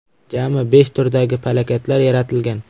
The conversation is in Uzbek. Jami besh turdagi plakatlar yaratilgan.